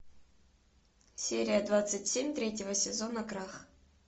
серия двадцать семь третьего сезона крах